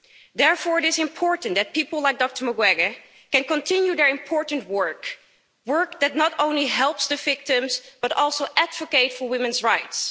Therefore, it is important that people like Dr Mukwege can continue their important work, work that not only helps the victims but also advocates for women's rights.